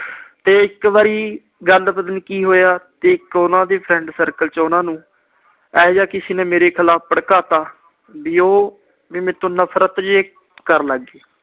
ਤੇ ਇੱਕ ਵਾਰੀ ਗੱਲ ਪਤਾ ਨੀ ਕੀ ਹੋਇਆ ਤੇ ਉਹਨਾਂ ਦੇ friend circle ਚੋਂ ਉਹਨਾਂ ਨੂੰ ਇਹੋ ਜਿਹਾ ਕਿਸੇ ਨੇ ਮੇਰੇ ਖਿਲਾਫ ਭੜਕਾਤਾ, ਵੀ ਉਹ ਮੇਰੇ ਤੋਂ ਨਫਰਤ ਜਿਹੀ ਕਰਨ ਲੱਗ ਗਈ।